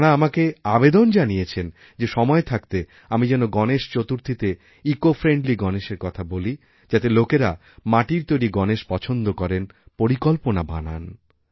তাঁরা আমাকে আবেদন জানিয়েছেন যেসময় থাকতে আমি যেন গণেশ চতুর্থীতে ইকোফ্রেন্ডলি গণেশের কথা বলি যাতেলোকেরা মাটির তৈরি গণেশ পছন্দ করেন পরিকল্পনা বানান